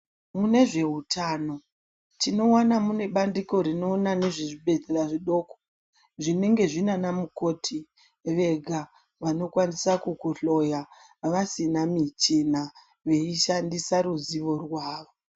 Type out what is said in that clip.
Mune zveutano tinoona mune bandiko rinoona nezvezvibhedhlera zvidoko zvinge zvine vana mukoti vega. Vanokwanisa kukuhloya vasina michina veishandisa ruzivo rwavo.